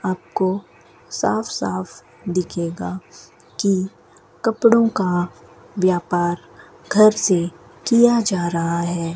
आपको साफ साफ दिखेगी की कपड़ों का व्यापार घर से किया जा रहा है।